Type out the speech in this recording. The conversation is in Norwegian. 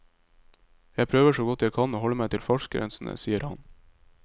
Jeg prøver så godt jeg kan å holde meg til fartsgrensene, sier han.